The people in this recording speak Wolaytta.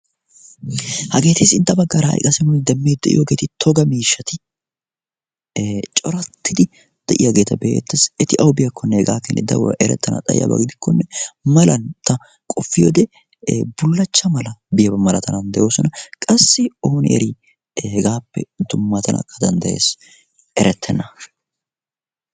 Hageeti sintta baggaara haiqassi nuuni demmii de'iyoogeeti toga miishshati corattidi de'iyaageeta beettassi eti aubiyaakkonne hegaa keni daruwaa erettana xayiyaabaagidikkonne malan ta qofi ode bullachcha mala biyaaba malatanan de'oosona. qassi onyeri hegaappe tu matanakka danddayees erettena.